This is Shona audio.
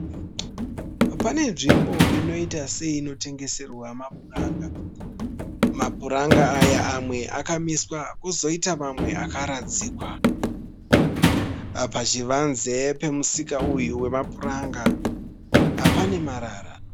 Pane nzvimbo inoita seinotengeserwa mapuranga. Mapuranga aya amwe akamiswa kozoita mamwe akaradzikwa. Pachivanze chemusika uyu wemapuranga pane marara.